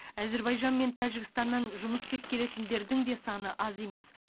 әзербайжан мен тәжікстаннан жұмыс іздеп келетіндердің де саны аз емес